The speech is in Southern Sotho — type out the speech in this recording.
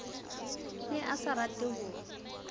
ne a sa rate ho